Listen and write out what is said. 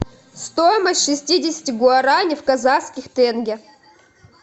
стоимость шестидесяти гуарани в казахских тенге